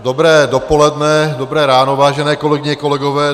Dobré dopoledne, dobré ráno, vážené kolegyně, kolegové.